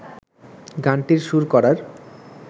গানটির সুর করার